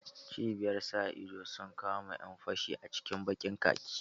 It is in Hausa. Cibiyar sa ido sun kama ƴan fashi a cikin ɓakin khaki.